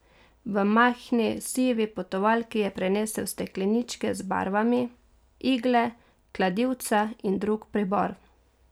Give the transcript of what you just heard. V majhni sivi potovalki je prinesel stekleničke z barvami, igle, kladivca in drug pribor.